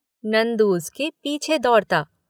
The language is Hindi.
नंदू उसके पीछे दौड़ता।